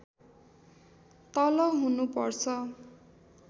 तल हुनु पर्छ